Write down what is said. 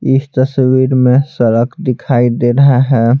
इस तस्वीर में सड़क दिखाई दे रहा है।